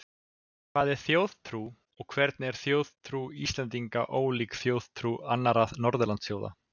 hvað er þjóðtrú og hvernig er þjóðtrú íslendinga ólík þjóðtrú annarra norðurlandaþjóða